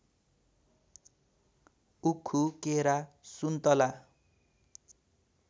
उखु केरा सुन्तला